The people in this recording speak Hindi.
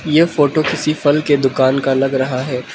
ये फोटो किसी फल के दुकान का लग रहा है।